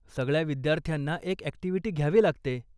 सगळ्या विद्यार्थ्यांना एक अॅक्टिव्हिटी घ्यावी लागते.